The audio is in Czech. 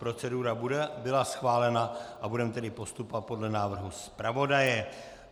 Procedura byla schválena a budeme tedy postupovat podle návrhu zpravodaje.